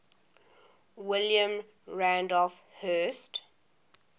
william randolph hearst